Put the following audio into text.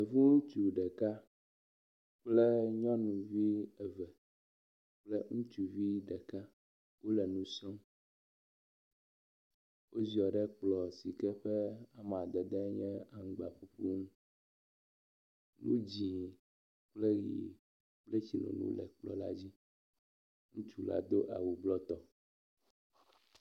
Hutsu ɖeka kple nyɔnuvi eve kple ŋutsuvi ɖeka wóle nusrɔm, woziɔ ɖe kplɔ sike ƒe amadede nye aŋgba ƒuƒu ŋu, nu dzĩ kple yi kple tsinono le kplɔ la dzí, hutsula dó awu blɔ tɔ